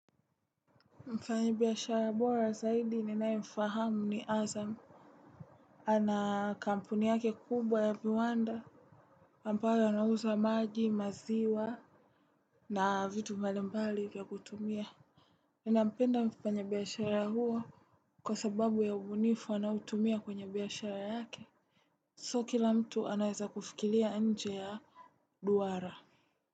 Mfanyibiashara bora zaidi ninaemfahamu ni azamu. Ana kampuni yake kubwa ya viwanda ambayo anauza maji maziwa. Na vitu mbalimbali ya kutumia ninapenda mfanyibiashara huo. Kwa sababu ya ubunifu anautumia kwenye biashara yake So kila mtu anaeza kufikilia nje ya duara.